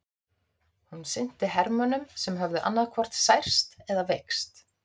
Hún sinnti hermönnum sem höfðu annaðhvort særst eða veikst.